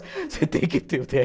Você tem que ter o dê erre.